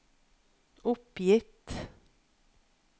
oppgitt